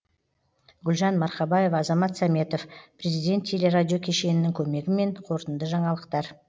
гүлжан марқабаева азамат сәметов президент телерадио кешенінің көмегімен қорытынды жаңалықтар